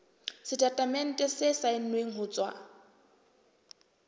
setatemente se saennweng ho tswa